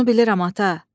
Bunu bilirəm, ata.